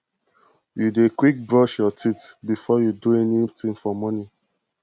you dey quick brush your teeth before you do anything for morning